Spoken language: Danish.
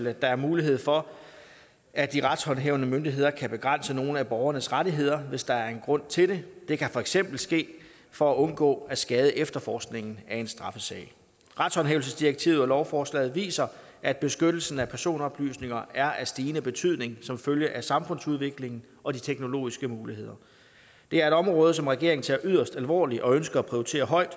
at der er mulighed for at de retshåndhævende myndigheder kan begrænse nogle af borgernes rettigheder hvis der er grund til det det kan for eksempel ske for at undgå at skade efterforskningen af en straffesag retshåndhævelsesdirektivet og lovforslaget viser at beskyttelsen af personoplysninger er af stigende betydning som følge af samfundsudviklingen og de teknologiske muligheder det er et område som regeringen tager yderst alvorligt og ønsker at prioritere højt